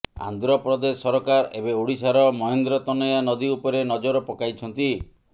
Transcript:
ଆନ୍ଧ୍ରପ୍ରଦେଶ ସରକାର ଏବେ ଓଡ଼ିଶାର ମହେନ୍ଦ୍ରତନୟା ନଦୀ ଉପରେ ନଜର ପକାଇଛନ୍ତି